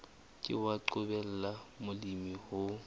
ke wa qobella molemi ho